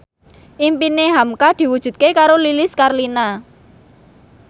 impine hamka diwujudke karo Lilis Karlina